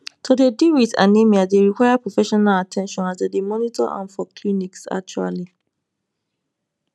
to dey deal wit anemia dey require professional at ten tion as dem dey monitor am for clinics actually